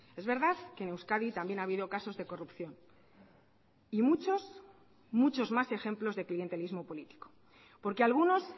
es verdad que en euskadi también ha habido casos de corrupción y muchos muchos más ejemplos de clientelismo político porque algunos